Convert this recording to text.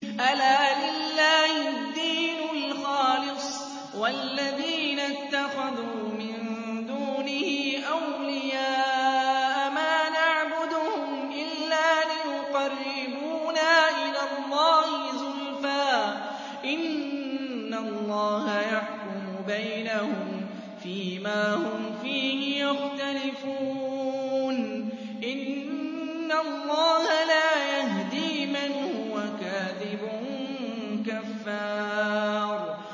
أَلَا لِلَّهِ الدِّينُ الْخَالِصُ ۚ وَالَّذِينَ اتَّخَذُوا مِن دُونِهِ أَوْلِيَاءَ مَا نَعْبُدُهُمْ إِلَّا لِيُقَرِّبُونَا إِلَى اللَّهِ زُلْفَىٰ إِنَّ اللَّهَ يَحْكُمُ بَيْنَهُمْ فِي مَا هُمْ فِيهِ يَخْتَلِفُونَ ۗ إِنَّ اللَّهَ لَا يَهْدِي مَنْ هُوَ كَاذِبٌ كَفَّارٌ